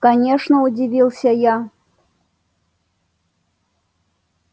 конечно удивился я